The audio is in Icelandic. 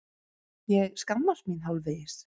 Ég skammast mín hálfvegis.